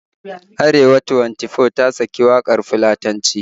Arewa Twenty-Four ta saka waƙar Fulatanci